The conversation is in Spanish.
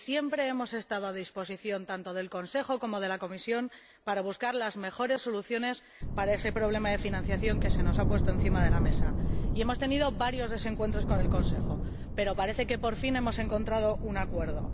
siempre hemos estado a disposición tanto del Consejo como de la Comisión para buscar las mejores soluciones para ese problema de financiación que se nos ha puesto encima de la mesa, y hemos tenido varios desencuentros con el Consejo, pero parece que, por fin, hemos encontrado un acuerdo.